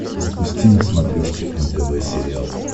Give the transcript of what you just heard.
запусти на смотрешке нтв сериал